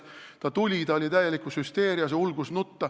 Ta tuli, ta oli täielikus hüsteerias ja ulgus nutta.